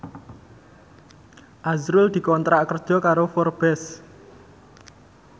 azrul dikontrak kerja karo Forbes